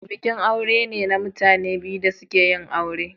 Bikin aure ne na mutane biyu da suka yin aure.